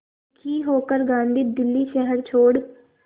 दुखी होकर गांधी दिल्ली शहर छोड़